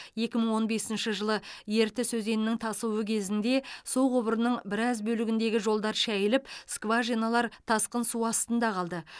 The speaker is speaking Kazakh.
екі мың он бесінші жылы ертіс өзенінің тасуы кезінде су құбырының біраз бөлігіндегі жолдар шайылып скважиналар тасқын су астында қалды